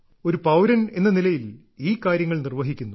ഒരു പൌരനെന്ന നിലയിൽ ഈ കാര്യങ്ങൾ നിർവ്വഹിക്കുന്നു